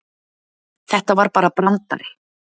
Þetta var bara brandari.